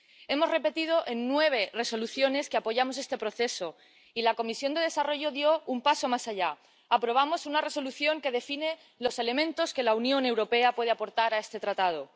Hemos repetido en nueve Resoluciones que apoyamos este proceso, y la Comisión de Desarrollo dio un paso más allá aprobamos una Resolución que define los elementos que la Unión Europea puede aportar a este Tratado.